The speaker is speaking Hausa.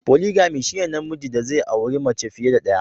"Polygamy" shine na mijin da zai auri mace fiye da daya".